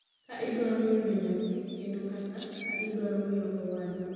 ka idwaro yudo nyathi kendo kata ka idwaro miyo owadu